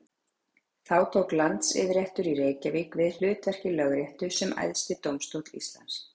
þá tók landsyfirréttur í reykjavík við hlutverki lögréttu sem æðsti dómstóll íslands